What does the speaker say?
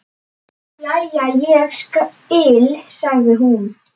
Jæja, ég skil, sagði hún.